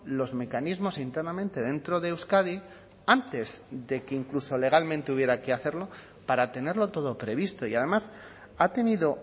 los mecanismos internamente dentro de euskadi antes de que incluso legalmente hubiera que hacerlo para tenerlo todo previsto y además ha tenido